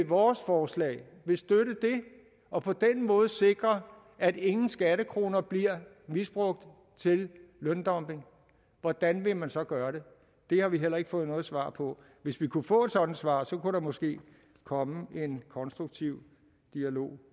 vores forslag og på den måde sikre at ingen skattekroner bliver misbrugt til løndumping hvordan vil man så gøre det det har vi heller ikke fået noget svar på hvis vi kunne få et sådant svar kunne der måske komme en konstruktiv dialog